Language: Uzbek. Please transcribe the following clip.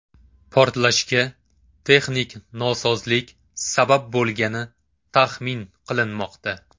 Portlashga texnik nosozlik sabab bo‘lgani taxmin qilinmoqda.